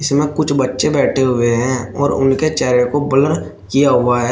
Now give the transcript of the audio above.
जेमा कुछ बच्चे बैठे हुए है और उनके चेहरे को ब्लर किया हुआ है।